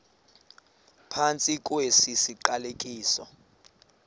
phantsi kwesi siqalekiso